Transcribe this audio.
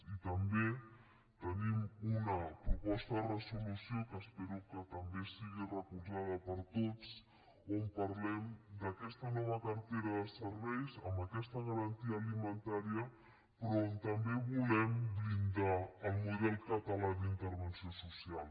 i també tenim una proposta de resolució que espero que també sigui recolzada per tots on parlem d’aquesta nova cartera de serveis amb aquesta garantia alimentària però on també volem blindar el model català d’intervenció social